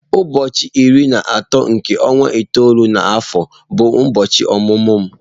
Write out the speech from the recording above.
Ụbọọchi iri na atọ nke ọnwa itoolu na afọ bụ ụbọọchi ọmụmụ m.